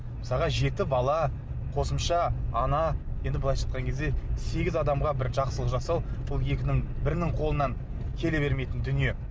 мысалға жеті бала қосымша ана енді былайша айтқан кезде сегіз адамға бір жақсылық жасау ол екінің бірінің қолынан келе бермейтін дүние